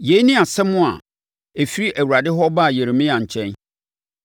Yei ne asɛm a ɛfiri Awurade hɔ baa Yeremia nkyɛn: